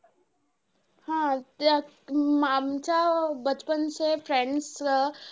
प्रत्येक गोष्टीची एक हवा तसा चष्मा प्रत्येक नाण्याच्या दोन बाजूत.